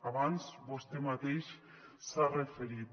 abans vostè mateix s’hi ha referit